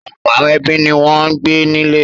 Ọ̀pọ̀ àwọn ẹbí ni wọ́n ń gbé nílé.